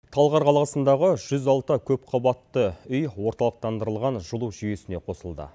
талғар қаласындағы жүз алты көпқабатты үй орталықтандырылған жылу жүйесіне қосылды